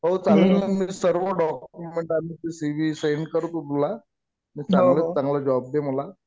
हो. चालेल ना. मी सर्व डॉक्युमेंट आणि सी वि सेंड करतो तुला. चांगल्यात चांगला जॉब दे मला.